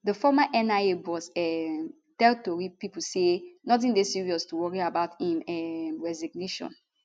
di former nia boss um tell tori pipo say notin dey serious to worry about im um resignation